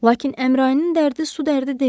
Lakin Əmrayinin dərdi su dərdi deyildi.